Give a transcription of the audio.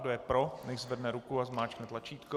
Kdo je pro, nechť zvedne ruku a zmáčkne tlačítko.